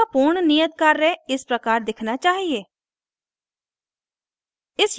आपका पूर्ण नियत कार्य इस प्रकार दिखना चाहिए